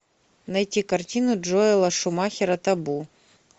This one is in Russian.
найти картину джоэла шумахера табу